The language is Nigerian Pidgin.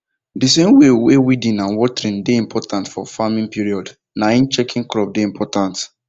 the same way weeding and watering dey important for farming period na him checking crop dey important